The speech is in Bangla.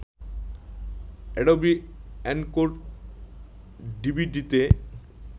Adobe Encore ডিভিডিতে